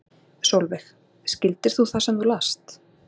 Sólveig: Skildir þú það sem þú last?